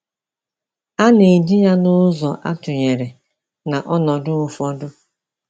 A na-eji ya n’ụzọ atụnyere na ọnọdụ ụfọdụ.